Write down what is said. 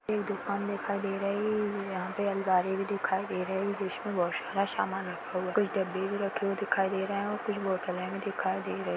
एक दुकान दिखाई दे रही है यहाँ पे अलमारी भी दिखाई दे रही जिसमें बहुत सारा सामान रखा हुआ है कुछ डब्बे भी रखे हुए दिखाई दे रहे है और कुछ बोतले भी दिखाई दे रही।